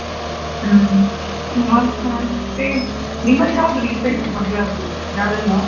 ಹ್ಮ್ ಮತ್ತೆ ನಿಮ್ಮಲ್ಲಿ ಯಾವ್ದು recent ಆಗಿ ಮದ್ವೆ ಅದ್ದು ಯಾರೆಲ್ಲಾ?